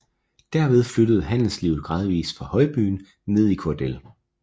Derved flyttede handelslivet gradvis fra højbyen ned i Kordel